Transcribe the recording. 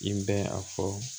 I bɛ a fɔ